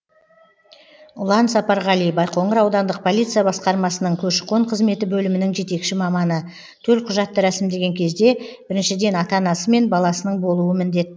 ұлан сапарғали байқоңыр аудандық полиция басқармасының көші қон қызметі бөлімінің жетекші маманы төлқұжатты рәсімдеген кезде біріншіден ата анасы мен баласының болуы міндет